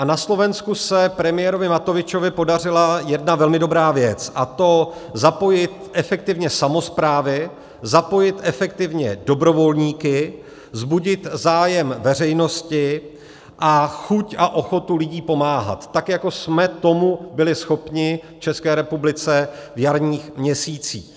A na Slovensku se premiérovi Matovičovi podařila jedna velmi dobrá věc, a to zapojit efektivně samosprávy, zapojit efektivně dobrovolníky, vzbudit zájem veřejnosti a chuť a ochotu lidí pomáhat, tak jako jsme tomu byli schopni v České republice v jarních měsících.